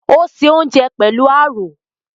Ò ń se oúnjẹ pẹ̀lú àrò